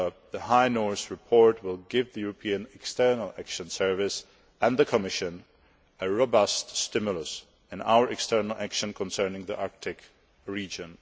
The High North report will give the European External Action Service and the Commission a robust stimulus in our external action concerning the Arctic region.